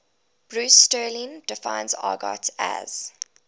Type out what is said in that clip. bruce sterling defines argot as